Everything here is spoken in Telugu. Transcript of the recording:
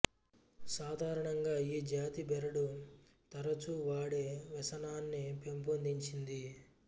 సాధారణంగా ఈ జాతి బెరడు తరుచూ వాడే వ్యసనాన్ని పెంపొందించింది